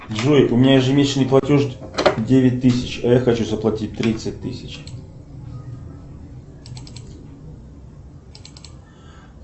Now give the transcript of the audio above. джой у меня ежемесячный платеж девять тысяч а я хочу заплатить тридцать тысяч